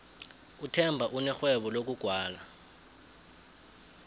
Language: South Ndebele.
uthemba unerhwebo lokugwala